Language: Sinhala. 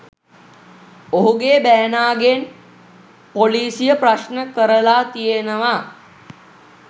ඔහුගේ බෑනාගෙන් පොලිසිය ප්‍රශ්න කරලා තියෙනවා.